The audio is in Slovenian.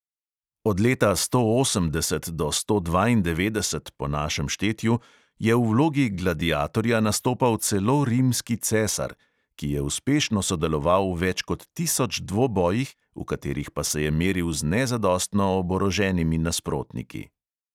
Od leta sto osemdeset do sto dvaindevetdeset po našem štetju je v vlogi gladiatorja nastopal celo rimski cesar, ki je uspešno sodeloval v več kot tisoč dvobojih, v katerih pa se je meril z nezadostno oboroženimi nasprotniki.